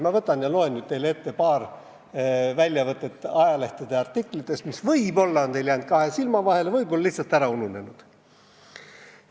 Ma loen nüüd teile ette paar väljavõtet ajaleheartiklitest, mis võib-olla on jäänud teil kahe silma vahele, võib-olla lihtsalt ära ununenud.